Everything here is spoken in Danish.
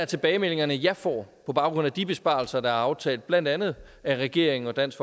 tilbagemeldinger jeg får på baggrund af de besparelser der er aftalt af blandt andet regeringen og dansk